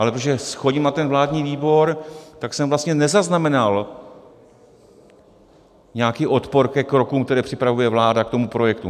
Ale protože chodím na ten vládní výbor, tak jsem vlastně nezaznamenal nějaký odpor ke krokům, které připravuje vláda k tomu projektu.